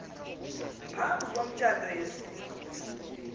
phambi komtshato yasiwa